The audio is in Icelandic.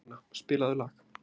Pétrína, spilaðu lag.